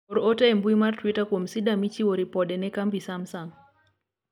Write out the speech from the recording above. or ote e mbui mar twita kuom sida michiwo ripode ne kambi smasung